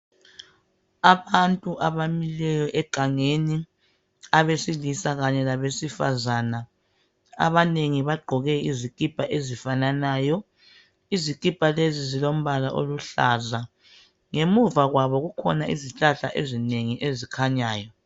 Abantu abamileyo egangeni, abesilisa kanye labesifazana. Abanengi bagqoke izikipa ezifananayo. Izikipa lezi zilombala oluhlaza. Ngemuva kwabo kukhona izihlahla ezinengi ezikhanyayo.